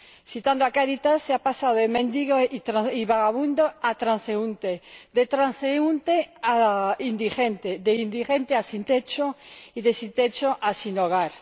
Citando a Cáritas, se ha pasado de mendigo y vagabundo a transeúnte, de transeúnte a indigente, de indigente a sin techo y de sin techo a sin hogar.